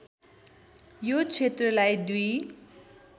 यो क्षेत्रलाई दुई